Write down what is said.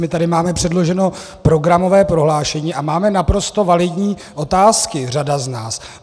My tady máme předloženo programové prohlášení a máme naprosto validní otázky, řada z nás.